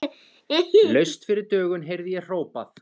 Laust fyrir dögun heyrði ég hrópað.